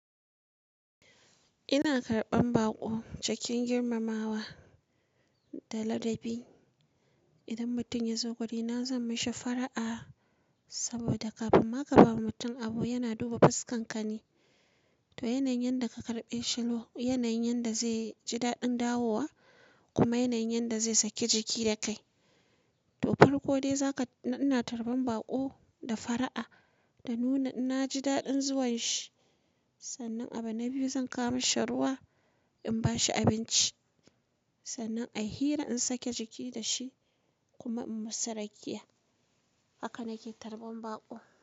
Ina karɓan baƙo cikin girmamawa da ladabi. Idan mutum ya zo guri na zan mashi fara'a, saboda kafin ma ka ba mutum abu yana duba fuskan ka ne. To yanayin da ka karɓe shi no, yanayin yanda zai ji daɗin dawowa, kuma yanayin yanda zai saki jiki da kai. To farko dai, zaka, ina tarban baƙo da fara'a, da nuna na ji daɗin zuwan shi, Sannan abu na biyu zan kawo mi shi ruwa, in ba shi abinci. Sannan ai hira in sake jiki da shi, kuma in musu rakiya. Haka na ke tarban baƙo.